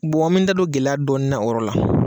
an me da don gɛlɛya dɔɔni na o yɔrɔ la.